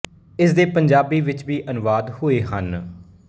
ਇਸ ਦੇ ਪੰਜਾਬੀ ਵਿੱਚ ਵੀ ਅਨੁਵਾਦ ਹੋਏ ਹਨ